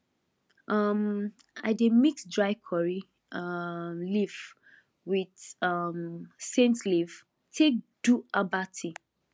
um i dey mix dry curry um leaf with um scent leaf take do herbal tea